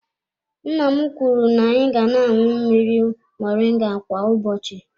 Nna m kwuru na-anyị ga na-aṅụ mmiri moringa kwa ụbọchị.